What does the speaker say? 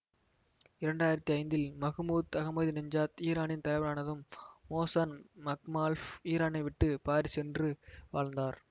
இரண்டு ஆயிரத்தி ஐந்தில் மகுமூத் அகமதிநெச்சாத் ஈரானின் தலைவரானதும் மோசன் மக்மால்பஃப் ஈரானைவிட்டு பாரிஸ் சென்று வாழ்ந்தார்